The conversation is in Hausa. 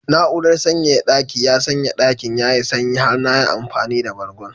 Na'urar sanyaya daki ya sanya dakin yayi sanyi har na yi amfani da bargon